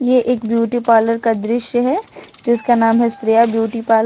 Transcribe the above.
यह एक beauty parlour का दृश्य है जिसका नाम है श्रेया ब्यूटी पार्लर ।